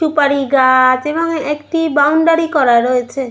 সুপারি গা-আ-ছ এবং একটি বাউন্ডারি করা রয়েছে।